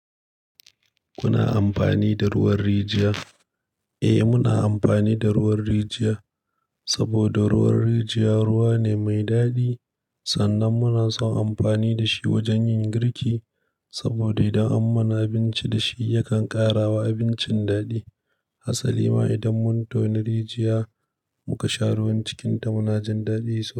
Kuna amfani da ruwan rijiya? Eh, muna amfani da ruwan rijiya saboda ruwan rijiya ruwa ne mai daɗi. Sannan muna son amfani da shi wajen yin girki saboda idan an mana abinci da shi yakan ƙara wa abincin daɗi. Asali ma idan mun tono rijiya muka sha ruwan cikinta, muna jin daɗinsa.